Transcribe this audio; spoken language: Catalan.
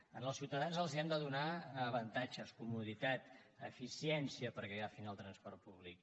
als ciutadans els hem de donar avantatges comoditats eficiència perquè agafin el transport públic